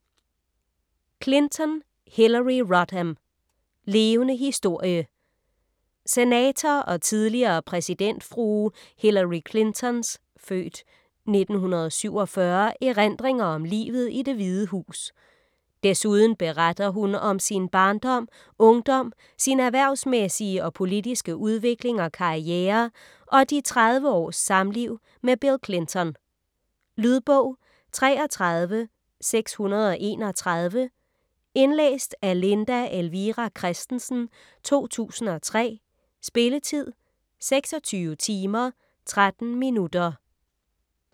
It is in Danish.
Clinton, Hillary Rodham: Levende historie Senator og tidligere præsidentfrue Hillary Clinton's (f. 1947) erindringer om livet i Det Hvide Hus. Desuden beretter hun om sin barndom, ungdom, sin erhversmæssige og politiske udvikling og karriere og de 30 års samliv med Bill Clinton. Lydbog 33631 Indlæst af Linda Elvira Kristensen, 2003. Spilletid: 26 timer, 13 minutter.